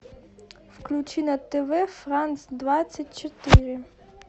включи на тв франс двадцать четыре